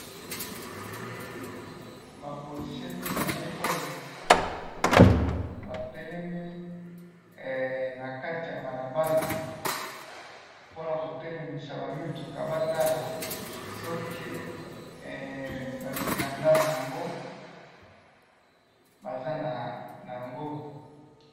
Bapolicier mibale oyo, batelemi nakati ya balabala mponakotelemisa bamituka batala soki bamikanda nayango Baza nayango.